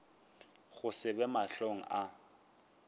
go se be mahlong a